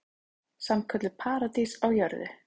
Sannkölluð paradís á jörðu.